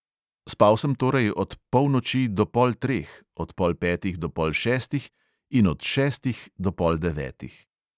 Spal sem torej od polnoči do pol treh, od pol petih do pol šestih in od šestih do pol devetih.